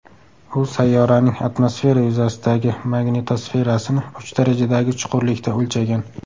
U sayyoraning atmosfera yuzasidagi magnitosferasini uch darajadagi chuqurlikda o‘lchagan.